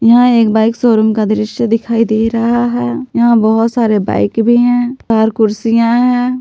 यहां एक bike showroom का दृश्य दिखाई दे रहा है यहां बहुत सारे बाइक भी है और कुर्सियां हैं।